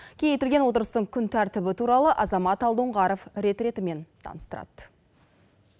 кеңейтілген отырыстың күн тәртібі туралы азамат алдоңғаров рет ретімен таныстырады